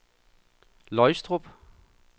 Løgstrup